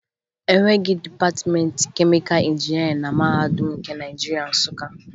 E nweghi dịpatịmentị kemịka injinịarịn na Mahadum nke Naịjirịa, Nsụka